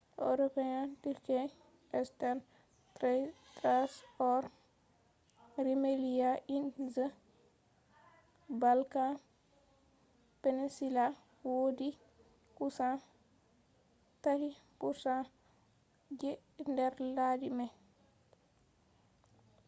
european turkey eastern thrace or rumelia in the balkan peninsula wodi kusan 3% je nder laddi mai